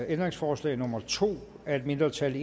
ændringsforslag nummer to af et mindretal